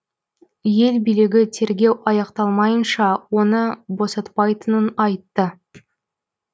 ел билігі тергеу аяқталмайынша оны босатпайтынын айтты